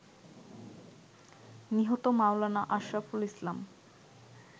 নিহত মাওলানা আশরাফুল ইসলাম